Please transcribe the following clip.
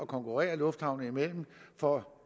konkurrence lufthavne imellem for